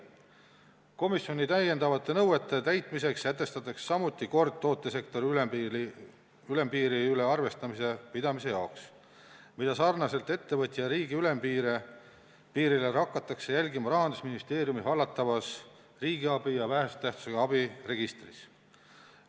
Komisjoni täiendavate nõuete täitmiseks sätestatakse samuti kord tootesektori ülempiiri üle arvestuse pidamise jaoks, mida sarnaselt ettevõtja ja riigi ülempiiriga hakatakse jälgima Rahandusministeeriumi hallatavas riigiabi ja vähese tähtsusega abi registris.